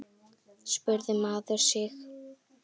spurði maður sig.